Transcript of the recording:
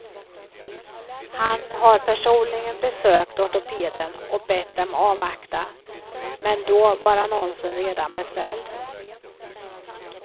Han har personligen besökt ortopeden och bett dem avvakta, men då var annonsen redan beställd.